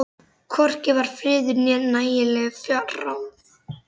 Hvorki var friður né nægileg fjárráð.